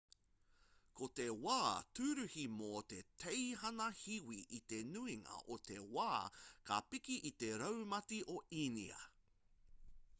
ko te wā tūruhi mō te teihana hiwi i te nuinga o te wā ka piki i te raumati o inia